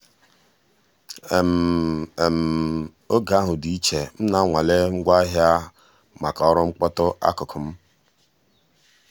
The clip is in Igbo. oge ahụ dị iche—m na-anwale ngwaahịa maka ọrụ mkpọtu akụkụ m.